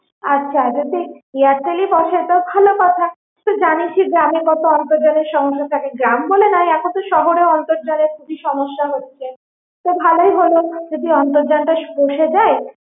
আচ্ছা যদি Airtel ই বসে তো ভালো কথা, তুই তো জানিই যে গ্রামে কত আন্তর্জালের সমস্যা থাকে, গ্রাম বলে নয় এখন তো শহরেও আন্তর্জালের কি সমস্যা হচ্ছে তো ভালোই হলো যদি অন্তর্জালটা স~ বসে যায়